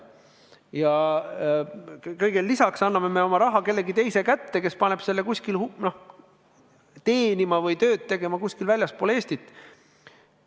Ja kõigele lisaks me anname oma raha kellegi teise kätte, kes paneb selle teenima või tööd tegema kuskil väljaspool Eestit.